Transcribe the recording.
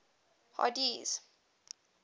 hardee's